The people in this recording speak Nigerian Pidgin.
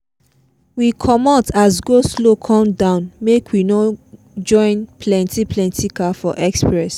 we comot as go-slow come down make we no join plenty plenty car for express